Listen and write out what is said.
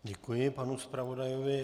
Děkuji panu zpravodajovi.